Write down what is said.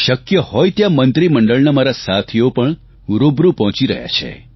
શક્ય હોય ત્યાં મંત્રીમંડળના મારા સાથીઓ પણ રૂબરૂ પહોંચી રહ્યા છે